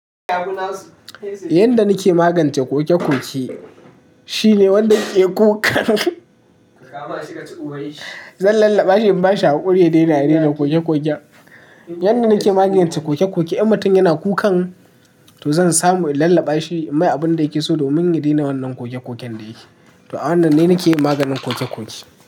Yanda na ke magance ƙoke-ƙoke shine wanda ke ƙukan zan lallaɓa shi in ba shi haƙuri ya daina yana ƙoke-ƙoke. Yanda na ke magance ƙoke-ƙoke, in matan yana kukan to zan samu in lallaɓa shi in mai abunda yake so domin ya daina wannan ƙoke-ƙoken da ya ke. To a wannan ne na ke yi maganin ƙoke-ƙoke.